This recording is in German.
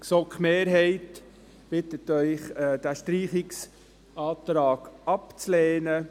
Die GSoK-Mehrheit bittet Sie, diesen Streichungsantrag abzulehnen.